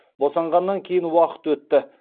босанғаннан кейін уақыт өтті